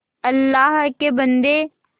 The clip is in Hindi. अल्लाह के बन्दे